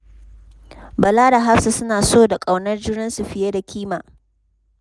Bala da Hafsa suna so da ƙaunar juna fiye da kima.